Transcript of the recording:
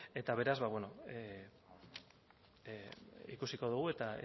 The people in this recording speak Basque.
eta beraz ikusiko dugu eta